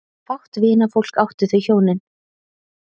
Fátt vinafólk áttu þau hjónin.